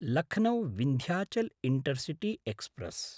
Lucknow Vindhyachal Intercity express